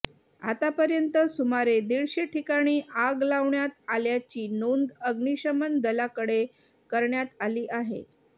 आतापर्यंत सुमारे दीडशे ठिकाणी आग लावण्यात आल्याची नोंद अग्निशमन दलाकडे करण्यात आली आहे